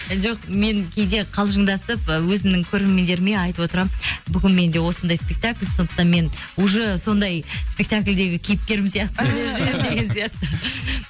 жоқ мен кейде қалжындасып ы өзімнің көрермендеріме айтып отырамын бүгін менде осындай спектакль сондықтан мен уже сондай спектакльдегі кейіпкерім сияқты сөйлеп жүрмін деген сияқты